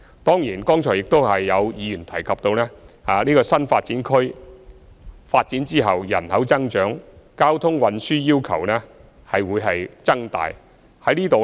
當然，剛才亦有議員提及新發展區發展後人口增長，交通運輸需要會相應增加。